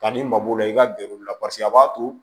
Ka n'i mago la i ka gɛrɛ u la paseke a b'a to